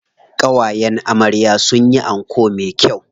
Ƙawayen amarya sun yi anko me kyau.